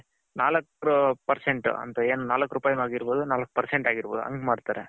ನಾಲಕ್ percent ಅಂತ ಏನು ನಾಲಕ್ ರೂಪಾಯಿ ಆಗಿರ್ಬೌದು ನಾಲಕ್ percent ಆಗಿರ್ಬೌದು ಹಂಗೆ ಮಾಡ್ತಾರೆ.